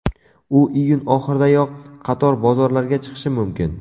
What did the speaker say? U iyun oxiridayoq qator bozorlarga chiqishi mumkin.